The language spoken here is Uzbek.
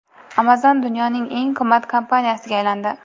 Amazon dunyoning eng qimmat kompaniyasiga aylandi.